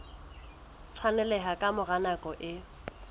tshwaneleha ka mora nako e